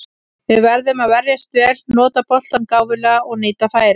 Við verðum að verjast vel, nota boltann gáfulega og nýta færin.